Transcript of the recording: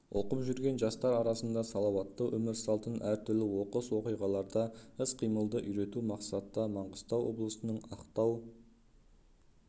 оқып жүрген жастар арасында салауатты өмір салтын әртүрлі оқыс оқиғаларда іс-қимылды үйрету мақсатта маңғыстау облысының ақтау